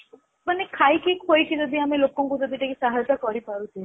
ମାନେ ଖାଇକି ଖୁଏଇକି ଯଦି ଲୋକଙ୍କୁ ଯଦି ଆମେ ସାହାର୍ଯ୍ୟ କରିପାରୁଛେ